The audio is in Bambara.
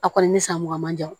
A kɔni ni san mugan man jan